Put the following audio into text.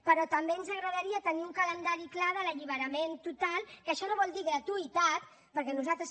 però també ens agradaria tenir un calendari clar de l’alliberament total que això no vol dir gratuïtat perquè nosaltres